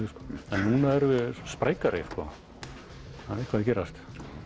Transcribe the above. en núna erum við sprækari það er eitthvað að gerast